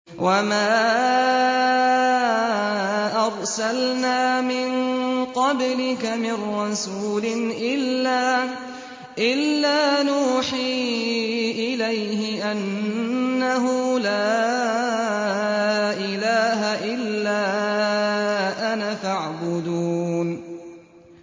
وَمَا أَرْسَلْنَا مِن قَبْلِكَ مِن رَّسُولٍ إِلَّا نُوحِي إِلَيْهِ أَنَّهُ لَا إِلَٰهَ إِلَّا أَنَا فَاعْبُدُونِ